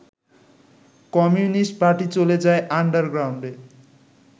communist party চলে যায় আন্ডারগ্রাউন্ডে